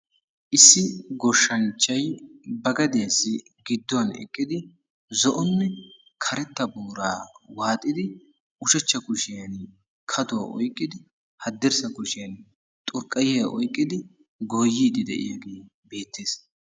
Issi goshshanchchay ba gadiyassi gidduwan eqqidi zo'onne karetta booraa waaxidi ushachcha kushiyaa kaduwa oyqqidi hadirssa kushiyaan xurqqayiya oyqqidi goyidde de'iyaagee beettees.